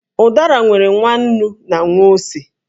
Ụ̀dàrà nwere nwa ǹnú na nwa ósé